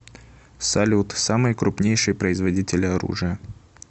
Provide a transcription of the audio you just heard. салют самые крупнейшие производители оружия